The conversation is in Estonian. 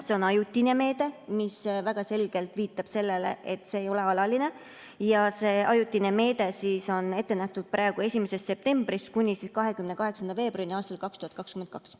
See on ajutine meede, mis väga selgelt viitab sellele, et see ei ole alaline, ja see ajutine meede on praegu ette nähtud 1. septembrist kuni 28. veebruarini aastal 2022.